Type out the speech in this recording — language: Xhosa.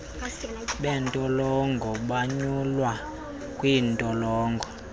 beentolongo bonyulwa kwiintolongo